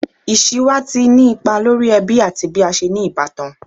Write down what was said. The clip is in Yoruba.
Iṣiwa ti ni ipa lori ẹbi ati bi a ṣe ni ibatan